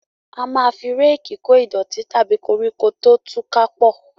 A máa fi Réèkì kò ìdọ̀tí tàbí koríko tó tú ká pọ